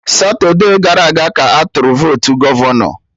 Satude gara aga ka atụrụ votu gọvọnọ